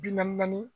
Bi naani naani